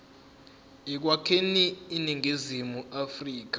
ekwakheni iningizimu afrika